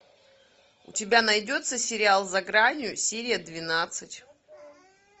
у тебя найдется сериал за гранью серия двенадцать